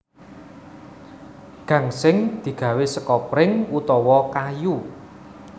Gangsing digawé seka pring utawa kayu